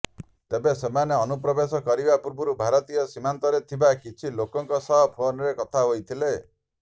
ତେବେ ସେମାନେ ଅନୁପ୍ରବେଶ କରିବା ପୂର୍ବରୁ ଭାରତୀୟ ସୀମାନ୍ତରେ ଥିବା କିଛି ଲୋକଙ୍କ ସହ ଫୋନରେ କଥା ହୋଇଥିଲେ